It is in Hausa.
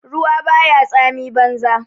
Ruwa ba ya tsami banza.